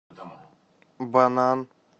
банан